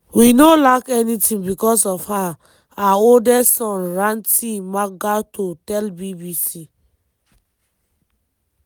we no lack anytin bicos of her" her oldest son ranti makgato tell bbc.